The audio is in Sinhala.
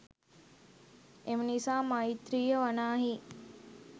එම නිසා මෛත්‍රීය වනාහී